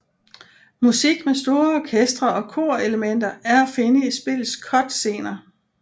Musik med store orkestre og kor elementer er at finde i spillets cutscener